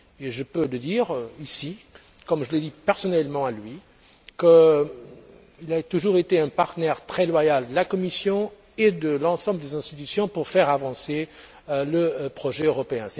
Je peux également dire ici, comme je le lui ai dit personnellement, qu'il a toujours été un partenaire très loyal de la Commission et de l'ensemble des institutions pour faire avancer le projet européen.